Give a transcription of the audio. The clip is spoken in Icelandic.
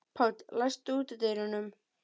Páll, læstu útidyrunum.